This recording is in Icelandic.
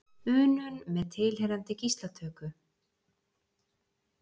unum með tilheyrandi gíslatöku.